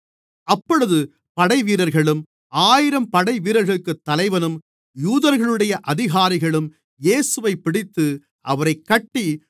அப்பொழுது படைவீரர்களும் ஆயிரம் படைவீரர்களுக்குத் தலைவனும் யூதர்களுடைய அதிகாரிகளும் இயேசுவைப்பிடித்து அவரைக் கட்டி